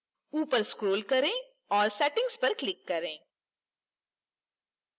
ऊपर scroll करें और settings पर click करें